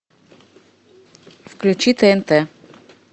включи тнт